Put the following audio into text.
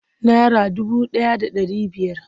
Nara dubu ɗaya da ɗari biyar.